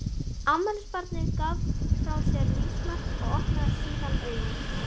Afmælisbarnið gaf frá sér lífsmark og opnaði síðan augun.